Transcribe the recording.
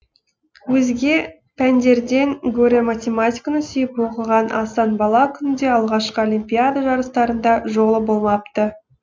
өзге пәндерден гөрі математиканы сүйіп оқыған асан бала күнінде алғашқы олимпиада жарыстарында жолы болмапты